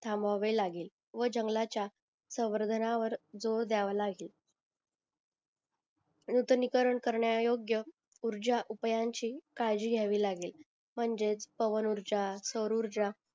थांबबावे लागेल व जंगलाच्या संवर्धनावर जोर द्यावा लागेल नूतनीकर करण्या अयोग्य ऊर्जा उपायांची काळजी घ्यावी लागेल म्हणजेच पवन ऊर्जा सोर ऊर्जा